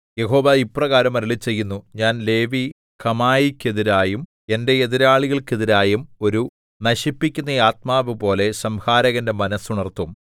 യഹോവ ഇപ്രകാരം അരുളിച്ചെയ്യുന്നു ഞാൻ ലേവി കമായിക്കെതിരായും എന്റെ എതിരാളികൾക്കെതിരായും ഒരു നശിപ്പിക്കുന്ന ആത്മാവ് പോലെ സംഹാരകന്റെ മനസ്സ് ഉണർത്തും